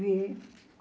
Vi.